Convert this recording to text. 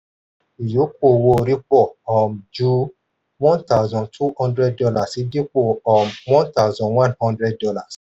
ìyókù owó-orí pọ̀ um jù one thousand two hundred dollars dípò um one thousand one hundred dollars